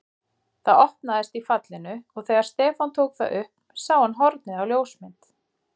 Það opnaðist í fallinu og þegar Stefán tók það upp sá hann hornið á ljósmynd.